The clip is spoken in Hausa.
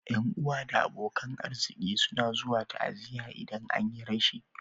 Ƴan'uwa da abokan arziki suna zuwa ta'aziya idan an yi rashi.